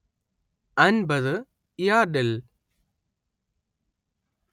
അന്‍പത്ത് യാർഡിൽ